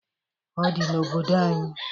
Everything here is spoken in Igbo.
Odi n'obodo anyị.